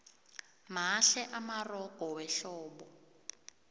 mahle amarogo wehlobo